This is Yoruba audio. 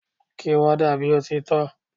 Kí warder bí ó ti tọ́!